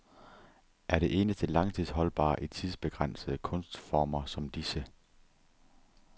Er det eneste langstidsholdbare i tidsbegrænsede kunstformer som disse.